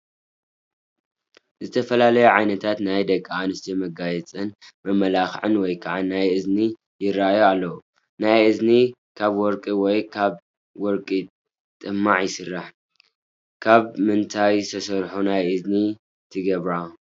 ዝተፈላለዩ ዓይነታት ናይ ደቂ ኣንስትዮ መጋየፅን መመላኽዕን ወይ ከዓ ናይ እዝኒ ይረአዩ ኣለው፡፡ ናይ እዝኒ ካብ ወርቂ ወይ ካብ ወርቂ ጥማዕ ይስራሕ፡፡ ካብ ምንታይ ዝተሰርሑ ናይ እዝኒ ትገብራ?